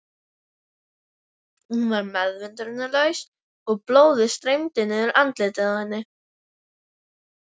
Hún var meðvitundarlaus og blóðið streymdi niður andlitið á henni.